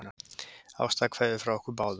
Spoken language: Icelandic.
Ástarkveðjur frá okkur báðum.